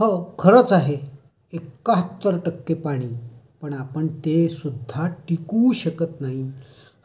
हो, खरच आहे. एकहात्तर टक्के पाणी आणि ते सुद्धा टिकवू शकत नाही